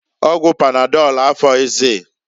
Ọgwụ panadọlụ afoghịzịị.